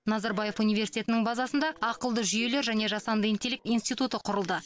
назарбаев университетінің базасында ақылды жүйелер және жасанды интеллект институты құрылды